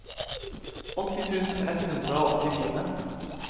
åtti tusen ett hundre og åttifire